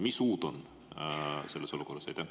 Mida uut on selles olukorras?